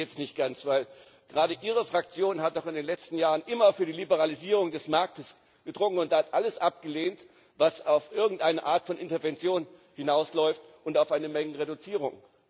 Ich verstehe Sie jetzt nicht ganz, denn gerade Ihre Fraktion hat doch in den letzten Jahren immer auf die Liberalisierung des Marktes gedrungen und alles abgelehnt, was auf irgendeine Art von Intervention hinausläuft und auf eine Mengenreduzierung.